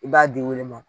I b'a di olu ma